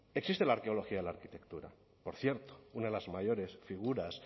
existe la arqueología de la arquitectura por cierto una de las mayores figuras